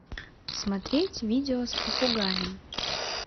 смотреть видео с попугаем